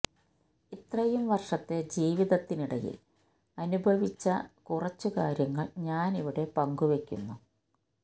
ഇത്രയും വർഷത്തെ ജീവിതത്തിനിടയിൽ അനുഭവിച്ച കുറച്ചു കാര്യങ്ങൾ ഞാനവിടെ പങ്കു വെക്കുന്നു